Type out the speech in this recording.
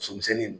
Somisɛnnin